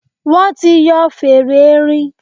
Wọ́n ti yọ fèrè erin.